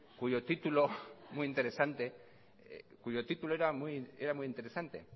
cuyo título era muy interesante